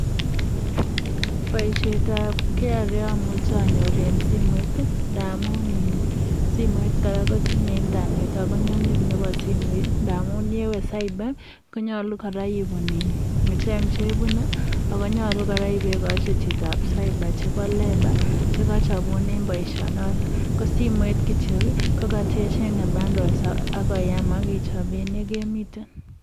Boisietab KRA amuchei anyor eng simoit ndamun ee simoit kora kotinyei internet ako nyumnyum nebo simoit ndamun ndewe cyber konyolu kora icheng chebune ako nyolu kora ipekochi chitoab cyber chebo labor chekachapunen boisionotok, ko simoit kityo kokate chenge bundles ako yam aki chopen ole kemiten.